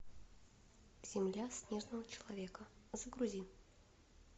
земля снежного человека загрузи